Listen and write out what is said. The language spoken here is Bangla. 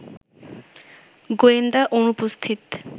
গোয়েন্দা অনুপস্থিত